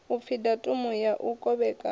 upfi datumu ya u kovhekanya